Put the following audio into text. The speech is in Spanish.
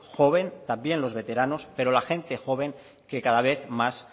joven también los veteranos pero la gente joven que cada vez más